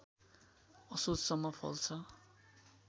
असोजसम्म फल्छ